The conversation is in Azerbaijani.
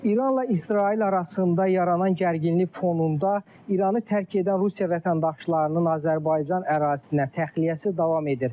İranla İsrail arasında yaranan gərginlik fonunda İranı tərk edən Rusiya vətəndaşlarının Azərbaycan ərazisinə təxliyəsi davam edir.